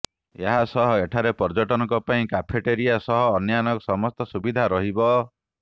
ଏହାସହ ଏଠାରେ ପର୍ଯ୍ୟଟକଙ୍କ ପାଇଁ କାଫେଟେରିଆ ସହ ଅନ୍ୟାନ୍ୟ ସମସ୍ତ ସୁବିଧା ରହିବ